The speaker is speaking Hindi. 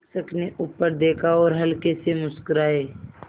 शिक्षक ने ऊपर देखा और हल्के से मुस्कराये